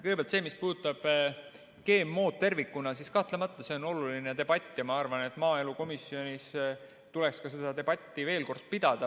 Kõigepealt, mis puudutab GMO-d tervikuna, siis kahtlemata see on oluline debatt ja ma arvan, et maaelukomisjonis tuleks ka seda debatti veel kord pidada.